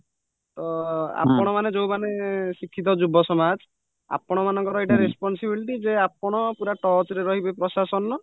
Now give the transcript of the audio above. ତ ଆପଣମାନେ ଯୋଉମାନେ ଶିକ୍ଷିତ ଯୁବ ସମାଜ ଆପଣମାନଙ୍କର ଏଇଟା responsibilityଯେ ଆପଣ touchରେ ରହିବେ ପ୍ରଶାସନର